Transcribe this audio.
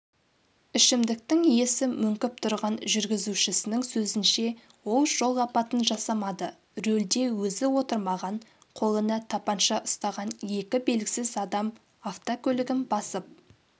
ішімдіктің иісі мөңкіп тұрған жүргізушісінің сөзінше ол жол апатын жасамады рөлде өзі отырмаған қолына тапанша ұстаған екі белгісіз адам автокөлігін басып